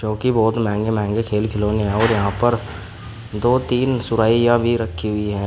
क्योंकि बहोत महंगे महंगे खेल खिलौने और यहां पर दो तीन सुरहिया भी रखी हुई है।